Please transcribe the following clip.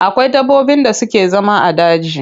Akwai dabbobin da suke zama a daji.